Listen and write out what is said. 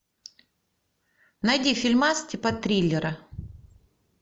найди фильмас типа триллера